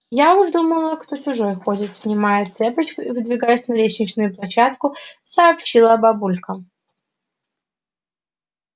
я уж думала кто чужой ходит снимая цепочку и выдвигаясь на лестничную площадку сообщила бабулька